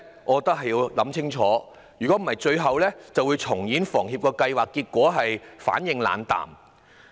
我覺得需要想清楚，否則最後只會重演房協有關計劃的結果：反應冷淡。